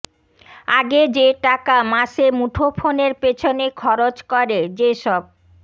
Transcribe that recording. আগে যে টাকা মাসে মুঠোফোনের পেছনে খরচ করে যেসব